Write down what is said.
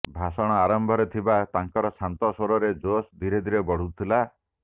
ଭାଷଣ ଆରମ୍ଭରେ ଥବା ତାଙ୍କର ଶାନ୍ତ ସ୍ୱରରେ ଜୋଶ ଧୀରେ ଧୀରେ ବଢୁଥିଲା